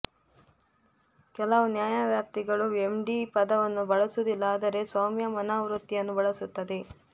ಕೆಲವು ನ್ಯಾಯವ್ಯಾಪ್ತಿಗಳು ಎಮ್ಡಿ ಪದವನ್ನು ಬಳಸುವುದಿಲ್ಲ ಆದರೆ ಸೌಮ್ಯ ಮನೋವೃತ್ತಿಯನ್ನು ಬಳಸುತ್ತದೆ